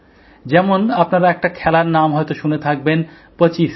যেমন আপনারা একটা খেলার নাম হয়তো শুনে থাকবেন পচিসি